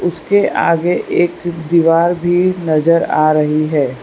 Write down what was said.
इसके आगे एक दीवार भी नजर आ रही है।